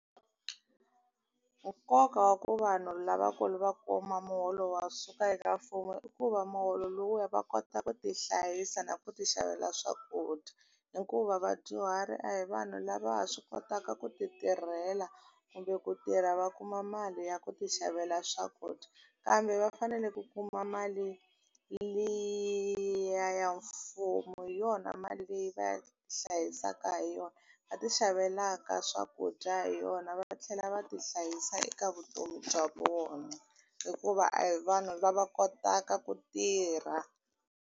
Nkoka wa ku vanhu lavakulu va kuma muholo wa suka eka mfumo i ku va muholo lowuya va kota ku ti hlayisa na ku ti xavela swakudya hikuva vadyuhari a hi vanhu lava swi kotaka ku ti tirhela kumbe ku tirha va kuma mali ya ku ti xavela swakudya kambe va fanele ku kuma mali liya ya mfumo hi yona mali leyi va hlayisaka hi yona va ti xavelaka swakudya hi yona va tlhela va ti hlayisa eka vutomi bya vona hikuva a hi vanhu lava kotaka ku tirha.